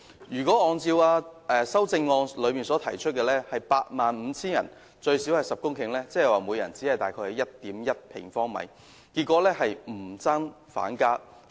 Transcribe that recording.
如果按照他的修正案提出的每 85,000 人最少10公頃標準計算，即每人只有 1.1 平方米，結果是不增反減。